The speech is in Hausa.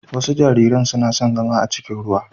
Wasu jariran suna son zama a cikin ruwa.